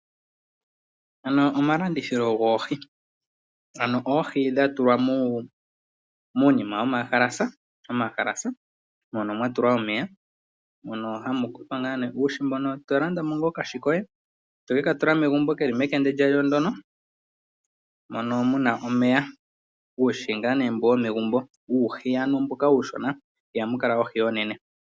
Mpano omalandithilo goohi, ano oohi dha tulwa muunima wafa omahalasa mono mwa tulwa omeya. Mono hamu tulwa ngaa nee uuhi mboka to landa mo ngaa okahi koye, toke ka tula megumbo keli mekende kalyo ndono, mono muna omeya. Uuhi ngaa mbono womegumbo uushona ihamu kala oohi oonene.